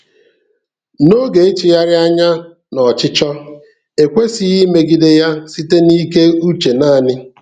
N’oge ịtụgharị anya n’ọchịchọ, ekwesịghị imegide ya site n’ike uche naanị.